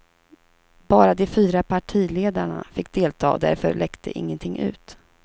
Bara de fyra partiledarna fick delta och därför läckte ingenting ut.